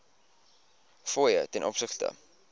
fooie ten opsigte